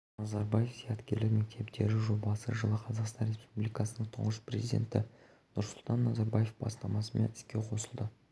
назарбаев зияткерлік мектептері жобасы жылы қазақстан республикасының тұңғыш президенті нұрсұлтан назарбаевтың бастамасымен іске қосылды назарбаев зияткерлік